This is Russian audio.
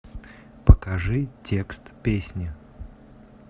покажи текст песни